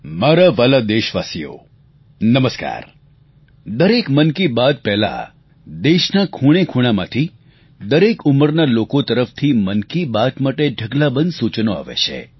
મારા વ્હાલા દેશવાસીઓ નમસ્કાર દરેક મન કી બાત પહેલાં દેશના ખૂણે ખૂણામાંથી દરેક ઉંમરના લોકો તરફથી મન કી બાત માટે ઢગલાબંધ સૂચનો આવે છે